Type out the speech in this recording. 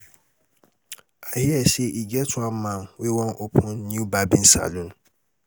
i hear say e get one man wey wan open new barbing salon